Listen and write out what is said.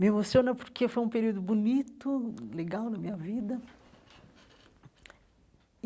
Me emociona porque foi um período bonito, legal na minha vida.